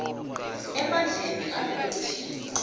emandleni alelo thimba